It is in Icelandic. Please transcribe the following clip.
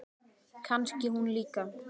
Kannski hún líka?